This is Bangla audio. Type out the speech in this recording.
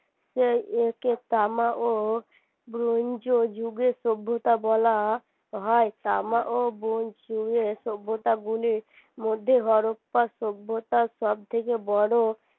তাই একে তামা ও bronze যুগের সভ্যতা বলা হয় তামা ও bronze যুগের সভ্যতাগুলির মধ্যে সভ্যতা সব থেকে বড়